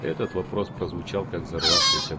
этот вопрос прозвучал как взорвавшийся